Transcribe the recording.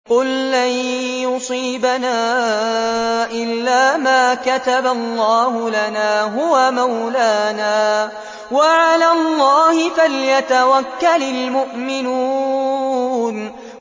قُل لَّن يُصِيبَنَا إِلَّا مَا كَتَبَ اللَّهُ لَنَا هُوَ مَوْلَانَا ۚ وَعَلَى اللَّهِ فَلْيَتَوَكَّلِ الْمُؤْمِنُونَ